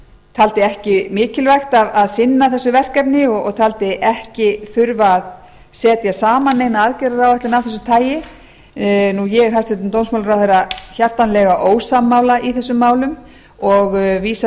taldi ekki mikilvægt að sinna þessu verkefni og taldi ekki þurfa að setja saman neina aðgerðaráætlun af þessu tagi ég er hæstvirtur dómsmálaráðherra hjartanlega ósammála í þessum málum og vísa